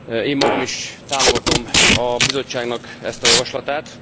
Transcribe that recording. Én magam is támogatom a Bizottságnak ezt a javaslatát.